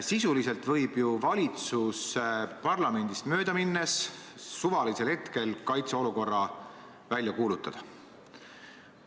Sisuliselt võib valitsus parlamendist mööda minnes suvalisel hetkel kaitseolukorra välja kuulutada.